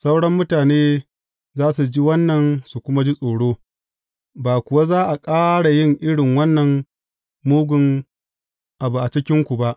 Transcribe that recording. Sauran mutane za su ji wannan su kuma ji tsoro, ba kuwa za a ƙara yin irin wannan mugun abu a cikinku ba.